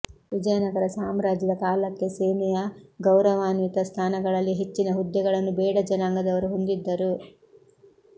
ವಿಜಯನಗರ ಸಾಮ್ರಾಜ್ಯದ ಕಾಲಕ್ಕೆ ಸೇನೆಯ ಗೌರವಾನ್ವಿತ ಸ್ಥಾನಗಳಲ್ಲಿ ಹೆಚ್ಚಿನ ಹುದ್ದೆಗಳನ್ನು ಬೇಡ ಜನಾಂಗದವರು ಹೊಂದಿದ್ದರು